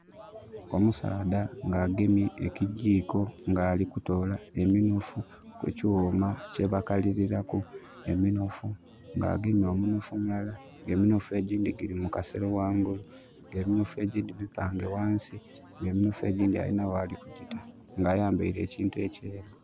Omusaadha nga agemye ekijikko ng' alikutoola eminofu kukyuuma kyebakalirilaku eminofu. Nga agemye omunofu mulala, eminofu egindi giri mukasero wangulu nga eminofu egyindi mipange wansi nga eminofu egyindi alina wali kugiita nga ayambaire ekintu ekyeeru.